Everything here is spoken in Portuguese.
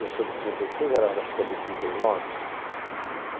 Eu sou de trinta e seis, acho que ela era de trinta e nove.